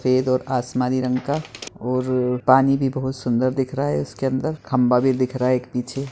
सफ़ेद और आसमानी रंग का और पानी भी बहोत सुंदर दिख रहा है इसके अंदर खम्बा भी दिख रहा है एक पीछे।